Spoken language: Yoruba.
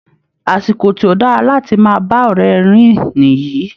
Àsìkò tí ó dára láti máa bá ọ̀rẹ́ rìn nìyí